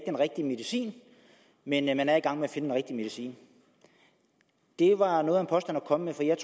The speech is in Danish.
den rigtige medicin men at man er i gang med at finde den rigtige medicin det var noget af en påstand at komme med for jeg